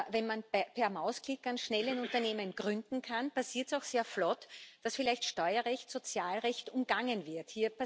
Wenn man per Mausklick ganz schnell ein Unternehmen gründen kann, passiert es auch sehr flott, dass vielleicht Steuerrecht, Sozialrecht umgangen wird.